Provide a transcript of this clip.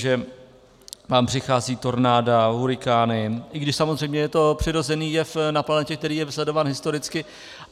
Že nám přichází tornáda, hurikány, i když samozřejmě je to přirozený jev na planetě, který je sledován historicky.